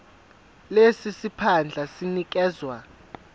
lesi siphandla sinikezwa